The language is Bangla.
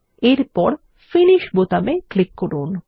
এরপর ফিনিশ বোতামে ক্লিক করুন